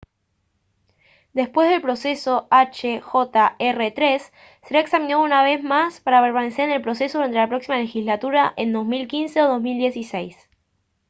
después del proceso hjr-3 será examinado una vez más para permanecer en el proceso durante la próxima legislatura en 2015 o 2016